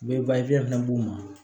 U bɛ fɛnɛ d'u ma